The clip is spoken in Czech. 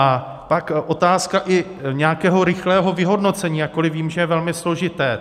A pak otázka i nějakého rychlého vyhodnocení, jakkoliv vím, že je velmi složité.